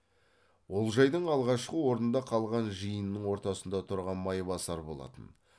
олжайдың алғашқы орнында қалған жиынның ортасында тұрған майбасар болатын